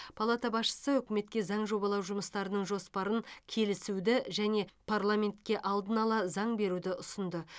палата басшысы үкіметке заң жобалау жұмыстарының жоспарын келісуді және парламентке алдын ала заң беруді ұсынды